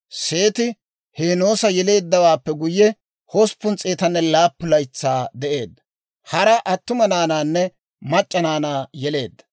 Seeti Heenoosa yeleeddawaappe guyye, 807 laytsaa de'eedda; hara attuma naanaanne mac'c'a naanaa yeleedda.